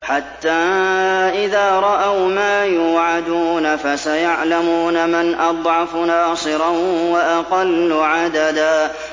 حَتَّىٰ إِذَا رَأَوْا مَا يُوعَدُونَ فَسَيَعْلَمُونَ مَنْ أَضْعَفُ نَاصِرًا وَأَقَلُّ عَدَدًا